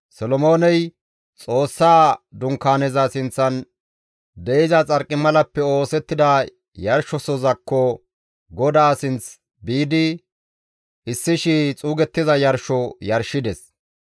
Solomooney Xoossaa Dunkaaneza sinththan de7iza xarqimalappe oosettida yarshosozakko, GODAA sinth biidi, 1,000 xuugettiza yarsho yarshides.